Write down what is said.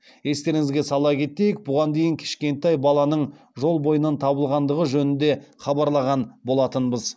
естеріңізге сала кетейік бұған дейін кішкентай баланың жол бойынан табылғандығы жөнінде хабарлаған болатынбыз